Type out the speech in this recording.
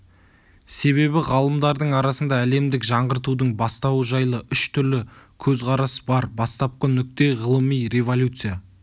себебі ғалымдардың арасында әлемдік жаңғыртудың бастауы жайлы үш түрлі көзқарас бар бастапқы нүкте ғылыми революция